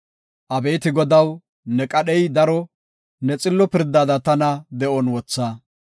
Abeeti Godaw, ne qadhey daro; ne xillo pirdada tana de7on wotha.